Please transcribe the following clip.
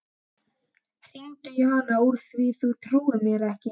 Hringdu í hana úr því þú trúir mér ekki.